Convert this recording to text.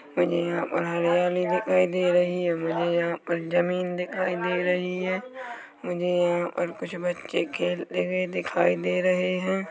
यहाँ पर हरयाली दिखाई दे रही है मुझे यहाँ पर जमीन दिखाई दे रही है मुझे यहाँ पर कुछ बच्चे खेलते हुए दिखाई दे रहे है।